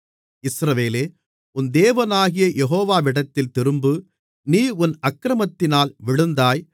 இஸ்ரவேலே உன் தேவனாகிய யெகோவாவிடத்தில் திரும்பு நீ உன் அக்கிரமத்தினால் விழுந்தாய்